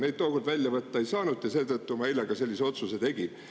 Neid tookord välja võtta ei saanud ja seetõttu ma eile sellise otsuse tegin.